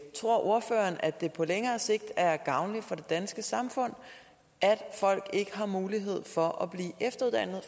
tror ordføreren at det på længere sigt er gavnligt for det danske samfund at folk ikke har mulighed for at blive efteruddannet